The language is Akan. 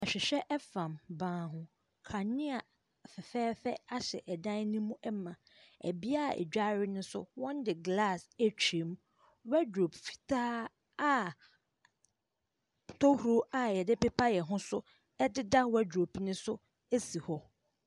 Ahwewhɛ ɛfam ban ho. Kanea fɛfɛɛfɛ ahyɛ ɛdan no mu ma. Ɛbea a yɛdware no nso wɔde glass atwa mu. Wardrobe fitaa a tohuro a yɛdepepa yɛn ho so ɛdeda wardrobe no so esi hɔ.